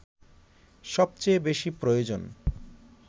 সবচেয়ে বেশি প্রয়োজন